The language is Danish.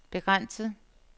begrænset